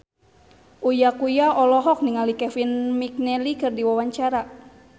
Uya Kuya olohok ningali Kevin McNally keur diwawancara